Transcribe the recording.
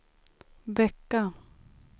vecka